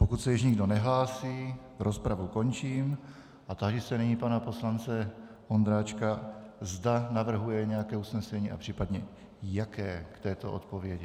Pokud se již nikdo nehlásí, rozpravu končím a táži se nyní pana poslance Ondráčka, zda navrhuje nějaké usnesení a případně jaké k této odpovědi.